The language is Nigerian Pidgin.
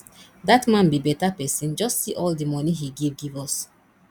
dat man be beta person just see all the money he give give us